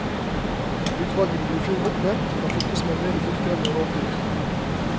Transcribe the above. Utvalgene ble i fjor oppnevnt av fylkesmennene i fylker med rovdyr.